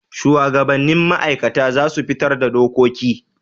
Shuwagabannin ma'aikata za su fitar da dokoki.